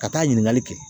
Ka taa ɲininkali kɛ